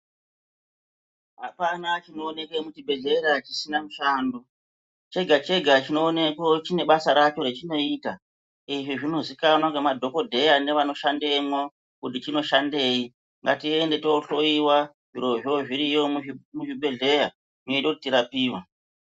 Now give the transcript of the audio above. Hapana chinoonekwe muchibhedhlera chisina mushando. Chega-chega chinoonekwa chinebasa racho rachinoita. Izvi zvinozikanwa ngemadhogodheya ngevanoshandemwo kuti chinoshandei ngatiende tohloiwa zvirozvo zvirimwo muzvibhedhleya zvinota kuti tirapiwe.